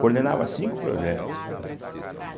coordenava cinco projetos, né (som bilabial).